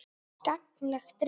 Gagnleg rit